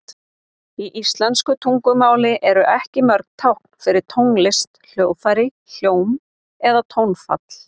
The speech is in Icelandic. Í íslensku táknmáli eru ekki mörg tákn fyrir tónlist, hljóðfæri, hljóm eða tónfall.